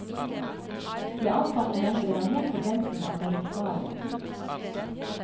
De ansatte mente det var helt på grensen av det forsvarlige.